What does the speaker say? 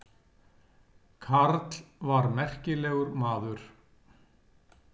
Karl var merkilegur maður.